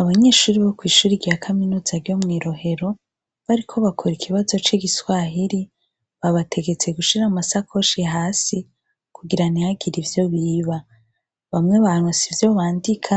Abanyeshuri bo kw'ishuri rya kaminutsa ro mw'irohero bariko bakora ikibazo c'igiswahiri babategetse gushira amasakoshi hasi kugira nihagira ivyo biba bamwe banu si vyo bandika